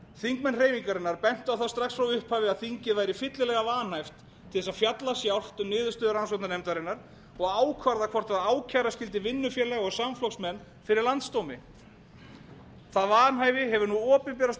þingmenn hreyfingarinnar bentu á það strax frá upphafi að þingið væri fyllilega vanhæft til þess að fjalla sjálft um niðurstöðu rannsóknarnefndarinnar og ákvarða hvort ákæra skyldi vinnufélaga og samflokksmenn fyrir landsdómi það vanhæfi hefur nú opinberast